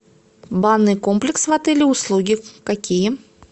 банный комплекс в отеле услуги какие